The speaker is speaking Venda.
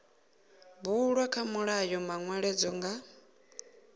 bulwa kha mulayo manweledzo nga